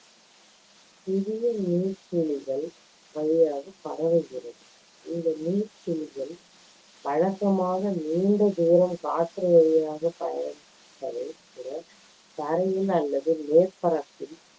சிறிய நீர்த்துளிகள் வழியாகப் பரவுகிறது. இந்த நீர்த்துளிகள் வழக்கமாக நீண்ட தூரம் காற்று வழியாக பய~ பயணிப்பதை விட தரையில் அல்லது மேற்பரப்பில்